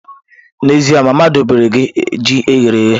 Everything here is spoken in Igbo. N'ezie, mama dobere gi ji eghere eghe.